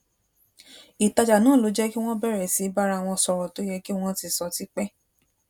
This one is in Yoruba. ìtajà náà ló jé kí wón bèrè sí í bára wọn sòrò to ye ki won ti so ti pe